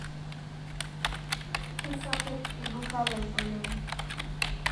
Keisapuk lduka lai oleng